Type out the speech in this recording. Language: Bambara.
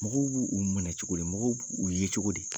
Mɔgɔw b' u minɛ cogo di mɔgɔ b'u ye cogo di?